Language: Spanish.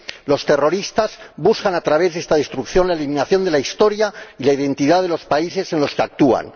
Los terroristas buscan a través de esta destrucción la eliminación de la historia y de la identidad de los países en los que actúan.